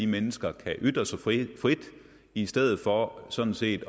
mennesker kan ytre sig frit i stedet for at man sådan set